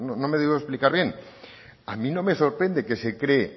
no me he debido explicar bien a mí no me sorprende que se cree